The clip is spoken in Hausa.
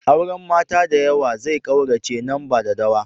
Auren mata da yawa zai kaurace nan ba dadawa.